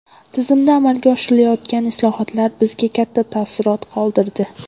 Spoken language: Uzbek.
Tizimda amalga oshirilayotgan islohotlar bizda katta taassurot qoldirdi.